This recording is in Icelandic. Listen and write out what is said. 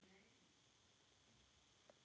Mér finnst svo gaman!